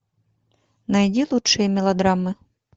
найди лучшие мелодрамы